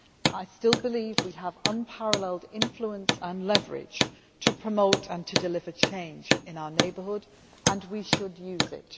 I still believe we have unparalleled influence and leverage to promote and to deliver change in our neighbourhood, and we should use it.